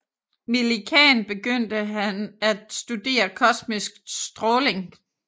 Millikan begyndte han at studere kosmisk stråling